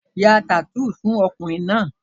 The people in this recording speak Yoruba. Ya tattoo fún ọkùnrin náà!